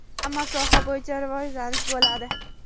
hamma soha bo‘yicha rivojlanish bo‘ladi.